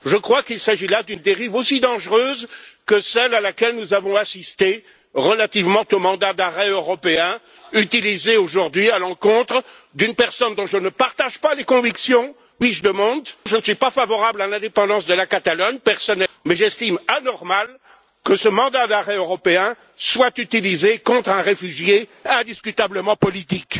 Je crois qu'il s'agit là d'une dérive aussi dangereuse que celle à laquelle nous avons assisté, relativement au mandat d'arrêt européen utilisé aujourd'hui à l'encontre d'une personne, M. Puigdemont, dont je ne partage pas du tout les convictions, je ne suis pas favorable à l'indépendance de la Catalogne, mais j'estime anormal que ce mandat d'arrêt européen soit utilisé contre un réfugié indiscutablement politique.